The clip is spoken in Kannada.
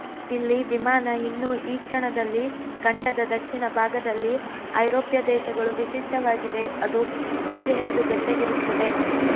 ಇಲ್ಲಿ ವಿಮಾನ ಇನ್ನೂ ಈ ಕ್ಷಣದಲ್ಲಿ ಖಂಡದ ದಕ್ಷಿಣ ಭಾಗದಲ್ಲಿ ಐರೋಪ್ಯ ದೇಶಗಳು ವಿಶಿಷ್ಟವಾಗಿದೆ ಅದು ಹೆಚ್ಚು ಹೆಚ್ಚು ಬೆಚ್ಚಗಿರುತ್ತದೆ